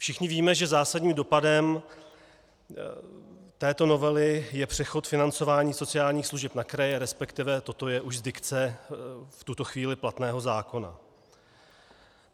Všichni víme, že zásadním dopadem této novely je přechod financování sociálních služeb na kraje, respektive toto je už z dikce v tuto chvíli platného zákona.